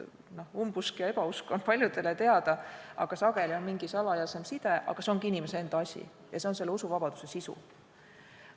Umbusk ja ebausk on paljudele teada, sageli on siin mingi salajasem side, see ongi inimese enda asi ja see on selle usuvabaduse sisu.